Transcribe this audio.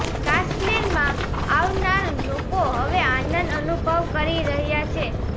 કાશ્મીરમાં આવનાર લોકો હવે આનંદ અનુભવ કરી રહ્યા છે